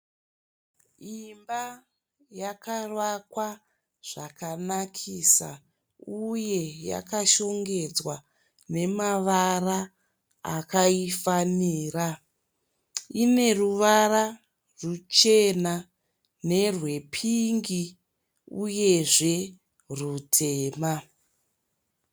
Imba yakavakwa zvakanakisa uye yakashongedzwa namavara akaifanira. Ineruvara ruchena nerwepingi uyezve rutema.